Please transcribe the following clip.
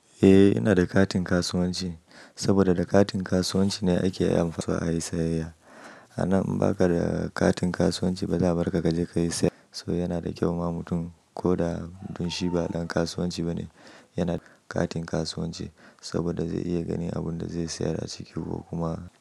Eh ina da katin kasuwanci saboda da katin kasuwanci ne ake iya amfani da shi a yi sayayya. A nan in baka da katin kasuwanci ba za a bar ka kaje ka yi sayayya. So yana da kyau ma mutum ko da mutum shi ba ɗan kasuwanci ba ne yana da katin kasuwanci saboda zai iya ganin abin da zai sayar a ciki ko kuma.